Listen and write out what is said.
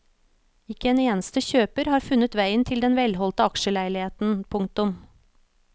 Ikke en eneste kjøper har funnet veien til den velholdte aksjeleiligheten. punktum